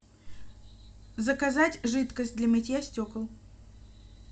заказать жидкость для мытья стекол